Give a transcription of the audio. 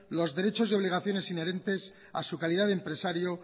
los derechos y obligaciones inherentes a su calidad de empresario